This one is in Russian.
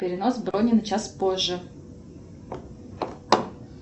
перенос брони на час позже